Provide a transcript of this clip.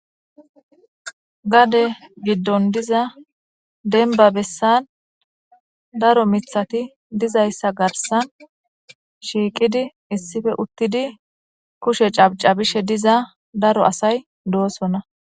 Gade giddon diza denba bessan daro mithati dizayssa garsan shiiqidi issife uttidi kushe cabca bishe diza daro asay doosona.